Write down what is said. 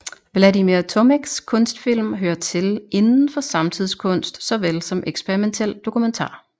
Vladimir Tomics kunstfilm hører til inden for samtidskunst såvel som eksperimentel dokumentar